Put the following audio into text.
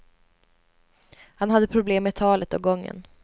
Han hade problem med talet och gången.